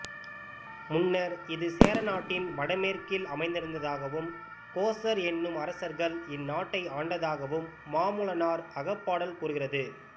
முன்னர் இது சேரநாட்டின் வடமேற்கில் அமைந்திருந்ததாகவும் கோசர் என்னும் அரசர்கள் இந்நாட்டை ஆண்டதாகவும் மாமூலனார் அகப்பாடல் கூறுகிறது